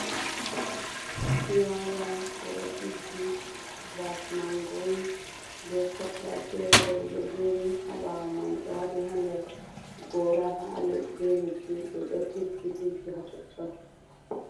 Fulawa ɓe ɗo tiggi, mbafu man girin. Be 'cutlass' feere bo, ɗi ɗo jeeri haa ɓawo man. Ɓe waati haa nder der goora, be leddi ɓe ɗo tiggi-tiggi haa totton.